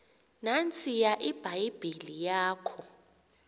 nantsiya ibhayibhile yakho